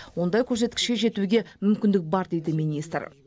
ондай көрсеткішке жетуге мүмкіндік бар дейді министр